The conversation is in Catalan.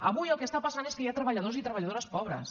avui el que està passant és que hi ha treballadors i treballadores pobres